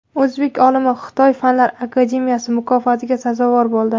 O‘zbek olimi Xitoy fanlar akademiyasi mukofotiga sazovor bo‘ldi.